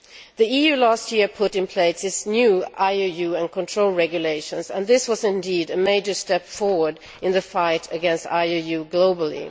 The EU last year put in place its new IUU and control regulations and this was indeed a major step forward in the fight against IUU globally.